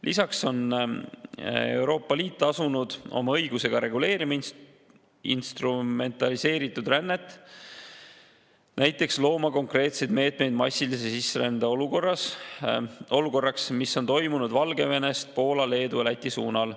Lisaks on Euroopa Liit asunud oma õigusega reguleerima instrumentaliseeritud rännet, näiteks looma konkreetseid meetmeid sellise massilise sisserände olukorra jaoks, nagu see on toimunud Valgevenest Poola, Leedu ja Läti suunal.